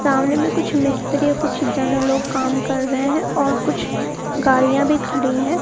सामने में कुछ मिस्त्री और कुछ लोग काम कर रहे हैं और कुछ गाड़ियां भी खड़ी है।